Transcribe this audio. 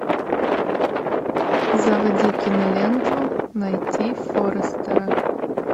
заводи киноленту найти форрестера